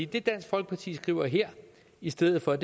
det dansk folkeparti skriver her i stedet for